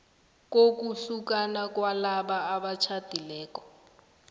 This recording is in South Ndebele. kokuhlukana kwalabo abatjhadileko